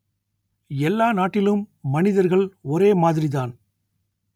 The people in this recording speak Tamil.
எல்லா நாட்டிலும் மனிதர்கள் ஒரே மாதிரிதான்